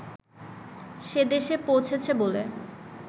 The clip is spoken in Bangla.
সেদেশে পৌঁছেছে বলে